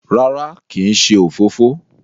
rárá kín ṣe òfófó?